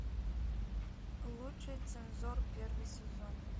лучший цензор первый сезон